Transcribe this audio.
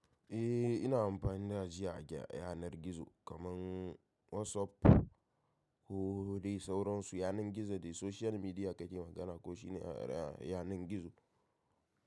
Eh, ina amfani da ajiya a yanar gizo kamar WhatsApp. Kodai sauransu yanar gizo ne social media kake magana ko shine yanar gizo?